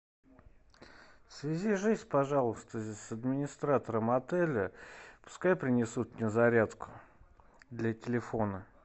свяжись пожалуйста с администратором отеля пускай принесут мне зарядку для телефона